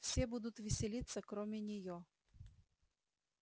все будут веселиться кроме неё